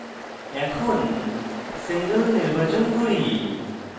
এখন single নির্বাচন করি